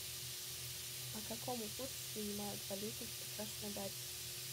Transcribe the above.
по какому курсу принимают валюту в краснодаре